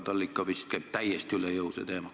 Talle vist käib see teema täiesti üle jõu.